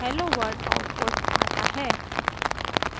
hello world output आता है